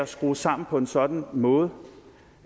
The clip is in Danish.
skrues sammen på en sådan måde